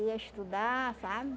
Ia estudar, sabe?